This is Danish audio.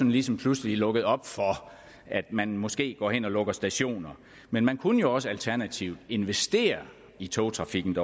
ligesom pludselig lukket op for at man måske går hen og lukker stationer men man kunne jo også alternativt investere i togtrafikken